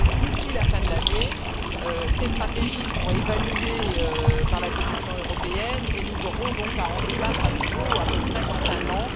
D'ici la fin de l'année, ces stratégies seront évaluées par la Commission européenne, et nous aurons donc à en débattre à nouveau à peu près dans un an.